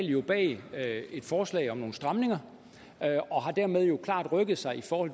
jo bag et forslag om nogle stramninger og har dermed klart rykket sig i forhold